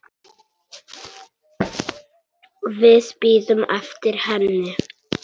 Við bíðum eftir henni